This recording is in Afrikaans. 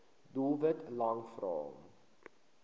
doelwit lang vrae